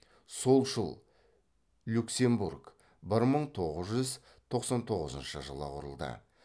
солшыл люксембург бір мың тоғыз жүз тоқсан тоғызыншы жылы құрылды